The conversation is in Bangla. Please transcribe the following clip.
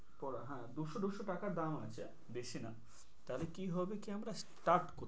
পড়া হ্যাঁ দুশো দুশো টাকা দাম আছে বেশি না, তাহলে কি হবে কি আমরা start করবো।